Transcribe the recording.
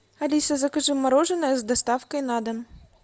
алиса закажи мороженое с доставкой на дом